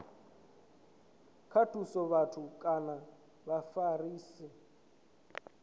nga thusa vhathu kana vhafarisi